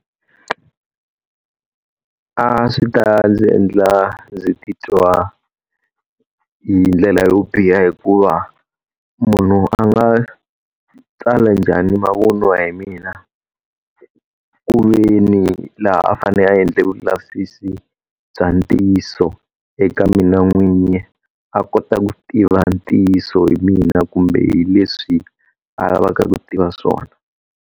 A swi ta ndzi endla ndzi titwa hi ndlela yo biha hikuva munhu a nga tsala njhani mavun'wa hi mina, ku ve ndzi laha a fanele a endla vulavisisi bya ntiyiso eka mina n'winyi. A kota ku tiva ntiyiso hi mina kumbe hi leswi a lavaka ku tiva swona.